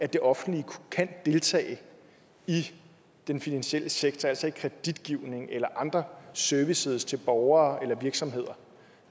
det offentlige kan deltage i den finansielle sektor altså i kreditgivningen eller andre services til borgere eller virksomheder